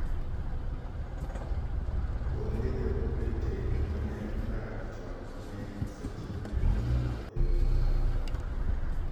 Onge Ja-Britain ma ne odak chon ma ne osetimne nonro e yo ma kamano.